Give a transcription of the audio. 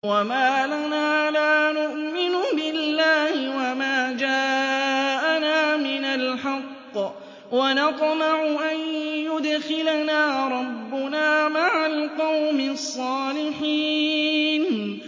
وَمَا لَنَا لَا نُؤْمِنُ بِاللَّهِ وَمَا جَاءَنَا مِنَ الْحَقِّ وَنَطْمَعُ أَن يُدْخِلَنَا رَبُّنَا مَعَ الْقَوْمِ الصَّالِحِينَ